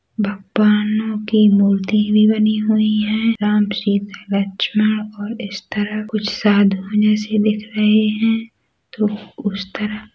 भगवानों की मूर्ति भी बनी हुई हैं राम - सीता लक्ष्मण और इस तरह कुछ साधुओं जैसे दिख रहे है और उस तरफ --